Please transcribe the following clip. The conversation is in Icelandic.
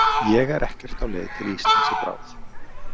Ég er ekkert á leið til Íslands í bráð.